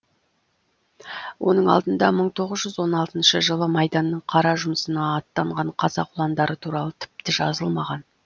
оның алдында мың тоғыз жүз он алтыншы жылы майданның қара жұмысына аттанған қазақ ұландары туралы тіпті жазылмаған